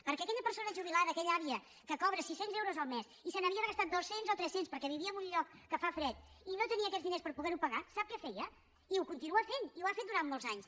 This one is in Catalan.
perquè aquella persona jubilada aquella àvia que cobra sis cents euros al mes i se n’havia de gastar dos cents o tres cents perquè vivia en un lloc que fa fred i no tenia aquests diners per poder ho pagar sap què feia i ho continua fent i ho ha fet durant molts anys